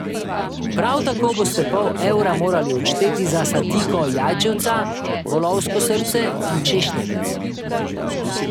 Prav tako boste pol evra morali odšteti za sadiko jajčevca, volovsko srce in češnjevec.